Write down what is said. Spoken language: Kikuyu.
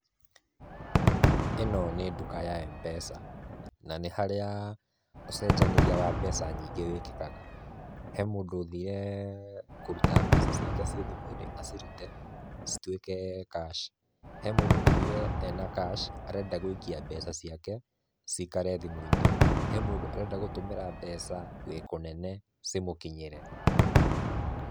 Ino nĩ nduka ya Mpesa, na nĩ harĩa ũcenjanĩria wa mbeca nyingĩ wĩkĩkaga, he mũndũ ũthire kũrũta mbeca ciake ci thimũ-inĩ acirute citũĩke cash, he mũndũ ũthire ena cash arenda gũika mbeca ciake cikare thimũ-inĩ, he mũndũ arenda gũtũmĩra mbeca we kũnene cimũkinyĩre.